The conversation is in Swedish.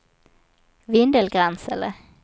Vindelgransele